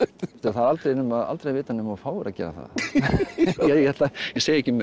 það er aldrei að aldrei að vita nema þú fáir að gera það ég segi ekki meir